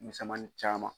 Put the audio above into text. Misɛnmani caman